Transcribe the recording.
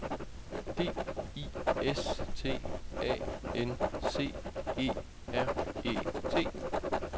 D I S T A N C E R E T